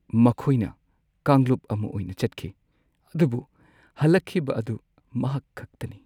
ꯃꯈꯣꯏꯅ ꯀꯥꯡꯂꯨꯞ ꯑꯃ ꯑꯣꯏꯅ ꯆꯠꯈꯤ ꯑꯗꯨꯕꯨ ꯍꯜꯂꯛꯈꯤꯕ ꯑꯗꯨ ꯃꯍꯥꯛ ꯈꯛꯇꯅꯤ꯫